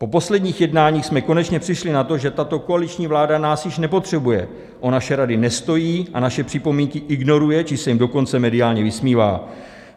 Po posledních jednáních jsme konečně přišli na to, že tato koaliční vláda nás už nepotřebuje, o naše rady nestojí a naše připomínky ignoruje, či se jim dokonce mediálně vysmívá.